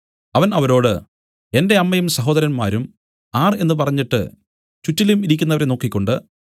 അവൻ അവരോട് എന്റെ അമ്മയും സഹോദരന്മാരും ആർ എന്നു പറഞ്ഞിട്ട് ചുറ്റിലും ഇരിക്കുന്നവരെ നോക്കിക്കൊണ്ട്